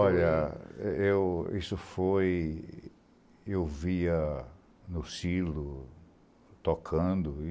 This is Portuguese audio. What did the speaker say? Olha, isso foi... Eu via no Silo, tocando, e...